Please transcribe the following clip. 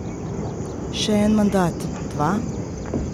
Še en mandat, dva?